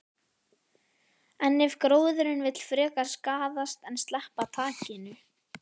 En ef gróðurinn vill frekar skaðast en sleppa takinu?